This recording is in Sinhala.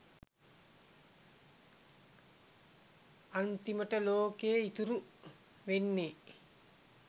අන්තිමට ලෝකෙ ඉතුරු වෙන්නෙ